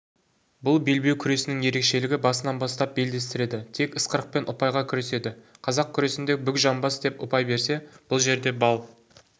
бұл белбеу күресінің ерекшелігі басынан бастап белдестіреді тек ысқырықпен ұпайға күреседі қазақ күресінде бүк жамбас деп ұпай берсе бұл жерде балл